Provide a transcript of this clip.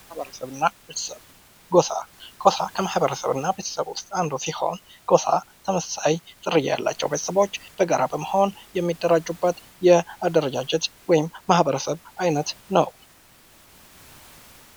ማኅበረሰብ እና ቤተሰብ ። ጎሳ ጎሳ ከማኅበር እና ቤተሰብ ውስጥ አንዱ ሲሆን ጎሳ ተመሳሳይ ዝርያ ያላቸው ቤተሰቦች በጋራ በመሆን የሚደራጁበት የአደረጃጀት ወይም ማኅበረሰብ አይነት ነው ።